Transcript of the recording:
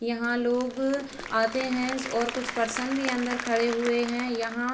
यहां लोग आते हैं और कुछ परसों भी अंदर खड़े हुए हैं यहां।